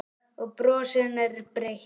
Og brosið hennar er breitt.